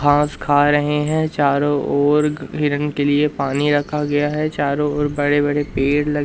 घास खा रहे हैं चारों ओर हिरन के लिए पानी रखा गया है चारों ओर बड़े बड़े पेड़ ल--